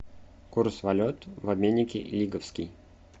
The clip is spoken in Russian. курс валют в обменнике лиговский